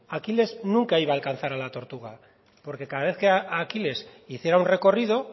aquiles nunca iba a alcanzar a la tortuga porque cada vez que aquiles hiciera un recorrido